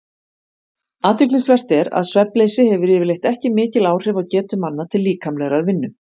Athyglisvert er að svefnleysi hefur yfirleitt ekki mikil áhrif á getu manna til líkamlegrar vinnu.